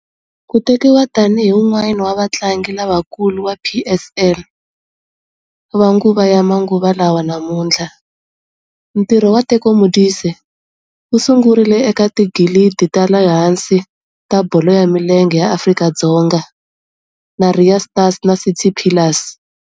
Ku tekiwa tani hi un'wana wa vatlangi lavakulu va PSL va nguva ya manguva lawa namuntlha, ntirho wa Teko Modise wu sungurile eka tiligi ta le hansi ta bolo ya milenge ya Afrika-Dzonga na Ria Stars na City Pillars.